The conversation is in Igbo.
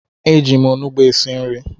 Eji m onugbu esi nri